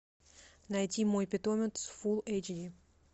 найти мой питомец фул эйч ди